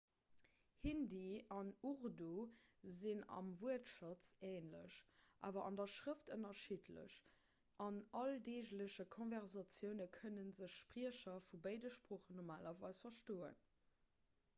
hindi an urdu sinn am wuertschatz änlech awer an der schrëft ënnerschiddlech an alldeegleche konversatioune kënne sech spriecher vu béide sproochen normalerweis verstoen